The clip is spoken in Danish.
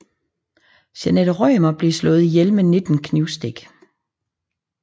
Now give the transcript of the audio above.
Jeanette Rømer blev slået ihjel med 19 knivstik